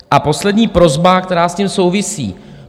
A poslední prosba, která s tím souvisí.